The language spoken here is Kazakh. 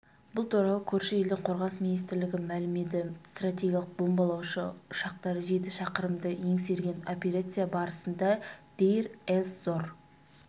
бұл туралы көрші елдің қорғаныс министрлігі мәлімеді стратегиялық бомбалаушы ұшақтары жеті шақырымды еңсерген операция барысында дейр-эз-зор